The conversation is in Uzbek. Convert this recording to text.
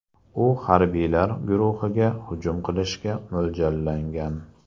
U harbiylar guruhiga hujum qilishga mo‘ljallangan.